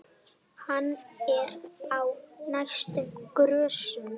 Hann er á næstu grösum.